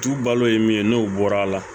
Tu balo ye min ye n'o bɔra a la